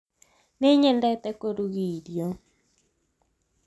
nĩnyendete kũruga irio